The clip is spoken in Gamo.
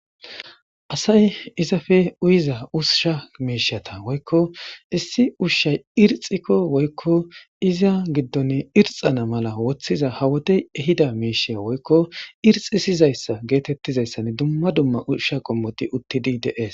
Asay izafe uyiza ususha meishata woykko issi ushshay irxikko woykko iza giddon irxana mala woththiza hawotey ehida meisheya woykko irxi sizayssa geetettizayssan dumma dumma ushsha qommoti uttidi dees.